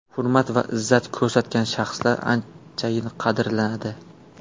Hurmat va izzat ko‘rsatgan shaxslar anchayin qadrlanadi.